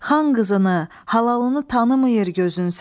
Xan qızını, halalını tanımayır gözün sənin?